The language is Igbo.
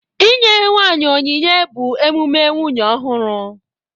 Inye nwanyị onyinye bụ emume nwunye ọhụrụ